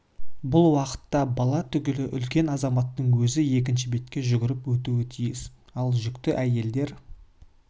бұл уақытта бала түгілі үлкен азаматтың өзі екінші бетке жүгіріп өту тиіс ал жүкті әйелдер